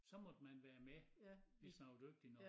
Så måtte man være med hvis man var dygtig nok